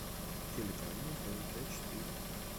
телеканал тнт четыре